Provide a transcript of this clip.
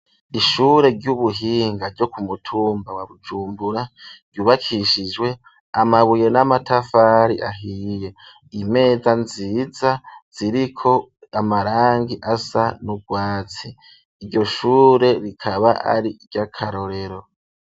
Ishure ry'ubuhinga ryo ku mutumba wa Bujumbura ryubakishijwe amabuye n'amatafari ahiye, imeza nziza ziriko amarangi asa n'urwatsi. Iryo shure rikaba ari iry'akarorero.